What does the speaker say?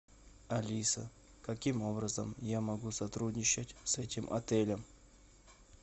алиса каким образом я могу сотрудничать с этим отелем